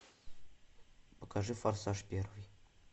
покажи форсаж первый